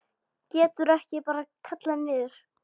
Geturðu ekki bara kallað niður?